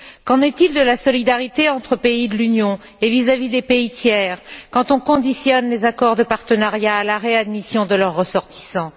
Qu'en est il de la solidarité entre pays de l'Union et vis à vis des pays tiers, quand on conditionne les accords de partenariat à la réadmission de leurs ressortissants?